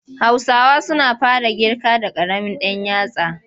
Hausawa suna fara ƙirga da ƙaramin ɗan yatsa.